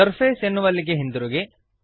surface ಎನ್ನುವಲ್ಲಿಗೆ ಹಿಂದಿರುಗಿರಿ